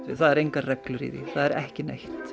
það eru engar reglur í því það er ekki neitt